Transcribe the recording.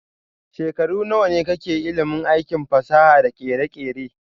Shekaru nawane ka ke da ilimin aikin fasaha da kere-kere?